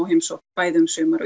heimsókn bæði um sumar